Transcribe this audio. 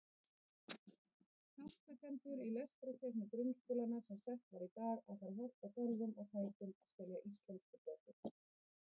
Vafasamt er þó, hvort sjóliðsforingjar hafi skrásett slíkar upplýsingar í dagbækur flotastjórnarinnar.